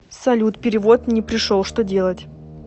салют перевод не пришел что делать